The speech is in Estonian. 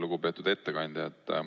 Lugupeetud ettekandja!